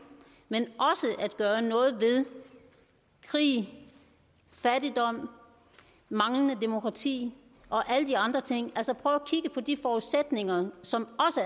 at gøre noget ved krig fattigdom manglende demokrati og alle de andre ting altså prøver at kigge på de forudsætninger som